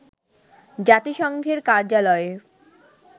জাতিসংঘের কার্যালয়ে